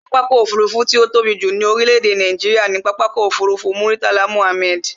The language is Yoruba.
Pápákọ̀ ọ̀kọ òfurufú tí ó tóbi jù ní orílé èdè Nàìjíría ni Pápákọ̀ Murtala Mohammed